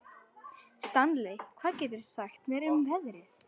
Stanley, hvað geturðu sagt mér um veðrið?